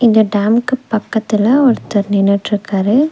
இந்த டேம்க்கு பக்கத்துல ஒருத்தர் நின்னுட்ருக்காரு.